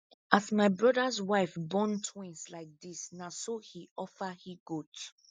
as my brothers wife born twins like this na so he offer hegoat